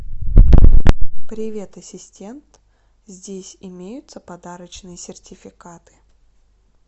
привет ассистент здесь имеются подарочные сертификаты